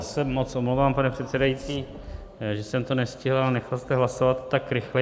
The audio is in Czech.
Já se moc omlouvám, pane předsedající, že jsem to nestihl, ale nechal jste hlasovat tak rychle.